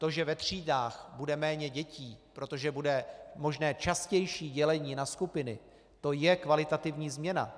To, že ve třídách bude méně dětí, protože bude možné častější dělení na skupiny, to je kvalitativní změna.